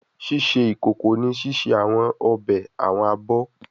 Ṣiṣe ikoko ni ṣiṣe awọn obe, awọn abọ